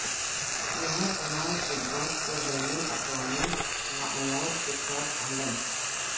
یہاں تمام خدمات کو بین الاقوامی معیار کے ساتھ عمل